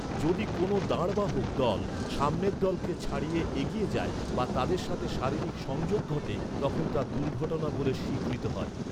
যদি কোনও দাঁড়বাহক দল সামনের দলকে ছাড়িয়ে এগিয়ে যায় বা তাদের সাথে শারীরিক সংযোগ ঘটে তখন তা দুর্ঘটনা বলে স্বীকৃত হয়।